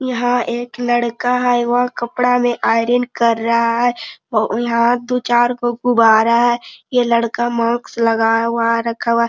यहां एक लड़का है वह कपड़ा में आयरन कर रहा है और यहां दू चार गो गुब्बारा है यह लड़का मार्क्स लगाया हुआ रखा हुआ।